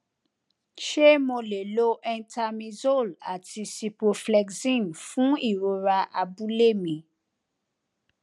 ṣé mo lè lo entamizole àti ciproflexin fún ìrora abúlé mi